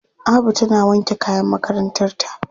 Abu tana wanke kayan makarantarta.